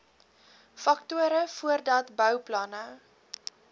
faktore voordat bouplanne